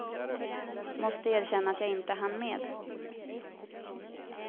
Måste erkänna att jag inte hann med.